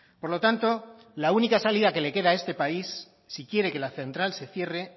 por lo tanto la única salida que le queda a este país si quiere que la central se cierre